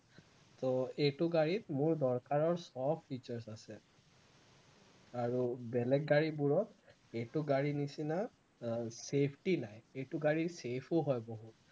তো এইটো গাড়ীত মোৰ দৰকাৰৰ সৱ features আছে আৰু বেলেগ গাড়ীবোৰত এইটো গাড়ীৰ নিচিনা আহ safety নাই, এইটো গাড়ী safe ও হয় বহুত